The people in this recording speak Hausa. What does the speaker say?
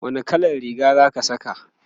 wani kallan Riga Zaki Saka?